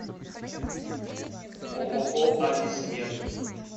ооо ависмед